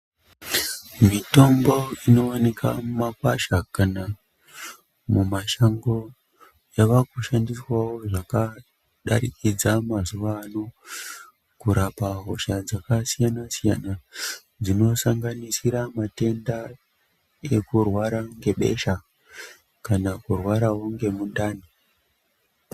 Mitombo inooneka mumakwasha kana kuti mumashango yavakushandiswawo zvakadarikidza mazuwaano kurapa hosha dzakasiyana-siyana dzinosanganisira matenda ekurwara ngebesha kana kurwarawo ngemundani.